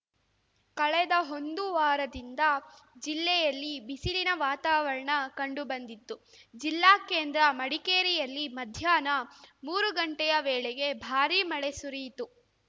ಕಳೆದ ಒಂದು ವಾರದಿಂದ ಜಿಲ್ಲೆಯಲ್ಲಿ ಬಿಸಿಲಿನ ವಾತಾವರಣ ಕಂಡುಬಂದಿತ್ತು ಜಿಲ್ಲಾ ಕೇಂದ್ರ ಮಡಿಕೇರಿಯಲ್ಲಿ ಮಧ್ಯಾಹ್ನ ಮೂರು ಗಂಟೆಯ ವೇಳೆಗೆ ಭಾರಿ ಮಳೆ ಸುರಿಯಿತು